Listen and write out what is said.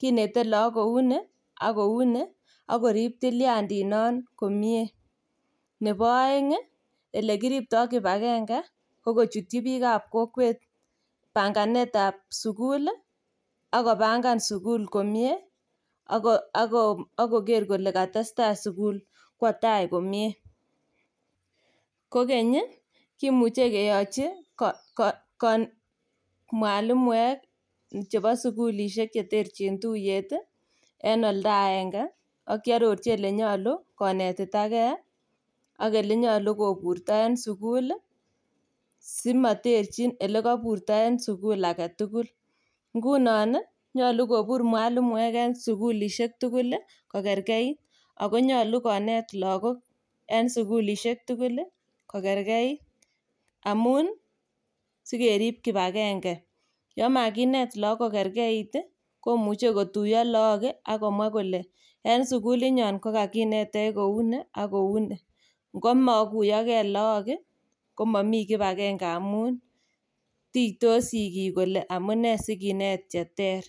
kinete lakok kouni ak kouni akorib tiliandit non komie . Nebo aeng elekiripta kibagenge ko kochutyi bikab kokwet panganet tab sugul ih akopangan sul komie okoker kole kitestai sugul kwotai komie. Kokeny ih kimuche keyachi mwalimuek chebo sugulisiek cheterchin tuyet ih en olda aenge akyarorchi konetitage ak olenyalu koburto en sugul ih , simaterchin olekaburto en sugul agetugul. Ingunon ih nyalu kobur mwalimuek en sugulisiek tugul kokerkeit Ako nyalu konet lakok en sugulisiek tugul kokerkeit amuun sekerib kibange. Amun yamakinet lakok kokerkeit imuche kotuyo lakok akimwa kole en sugulit nyon kokaginetech kouni ak kouni, ngomakiyage lakok komami kibakenge amuun Titos sigik kole amuune sikinet cheter.